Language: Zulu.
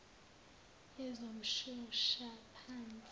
yezomshoshaphansi